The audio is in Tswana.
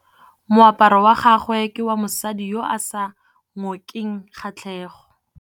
Moaparô wa gagwe ke wa mosadi yo o sa ngôkeng kgatlhegô.